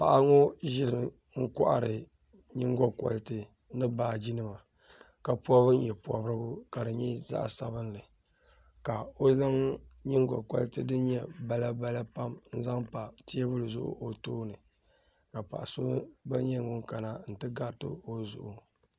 Paɣi ŋɔ n ʒɛmi n kɔhiri nyiŋ go koriti ni baaji nima ka pɔbi myɛ zaɣ' sabinli ka o zaŋ nyingo koriti din nyɛ balabala n zanpateebuli zuɣu o tooni ka paɣi so gba nyɛ ŋun kana n ti gati o zuɣu